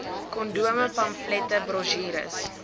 kondome pamflette brosjures